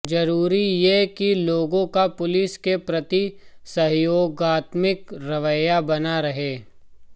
जरूरी ये कि लोगों का पुलिस के प्रति सहयोगात्मक रवैया बना रहे